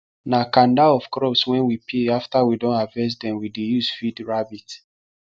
na kanda of crops wen we peel after we don harvest dem we dey use feed rabbit